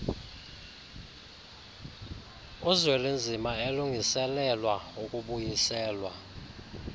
uzwelinzima elungiselelwa ukubuyiselwa